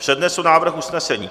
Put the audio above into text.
Přednesu návrh usnesení.